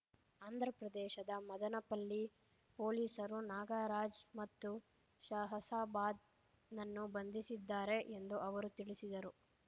ಆಂಧ್ರಪ್ರದೇಶದ ಮದನಪಲ್ಲಿ ಪೊಲೀಸರು ನಾಗರಾಜ್‌ ಮತ್ತು ಷಹಸಾಬಾದ್ ನನ್ನು ಬಂಧಿಸಿದ್ದಾರೆ ಎಂದು ಅವರು ತಿಳಿಸಿದರು